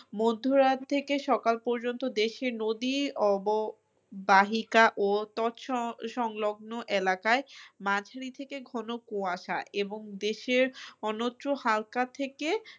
মধ্য রাত থেকে সকাল পর্যন্ত দেশে নদী অব বাহিকা ও তৎসঙ্গ এলাকাই থেকে ঘন কুয়াশা এবং দেশের অন্যত্র হালকা থেকে